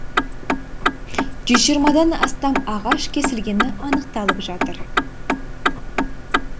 жүз жиырмадан астам ағаш кесілгені анықталып жатыр